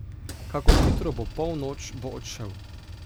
Kakor hitro bo polnoč, bo odšel.